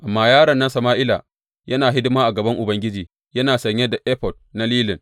Amma yaron nan Sama’ila, yana hidima a gaban Ubangiji yana sanye da efod na lilin.